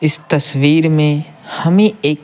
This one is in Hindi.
इस तस्वीर में हमें एक--